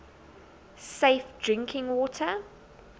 safe drinking water